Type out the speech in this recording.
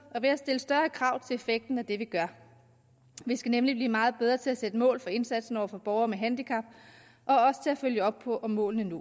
og ved at stille større krav til effekten af det vi gør vi skal nemlig blive meget bedre til at sætte mål for indsatsen over for borgere med handicap og også til at følge op på om målene